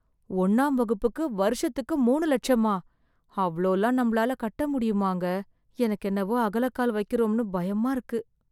ஒண்ணாம் வகுப்புக்கு வருஷத்துக்கு மூணு லட்சமா, அவ்ளோலாம் நம்மால கட்ட முடியுமாங்க, எனக்கு என்னவோ அகலக் கால் வைக்குறோம்னு பயமா இருக்கு.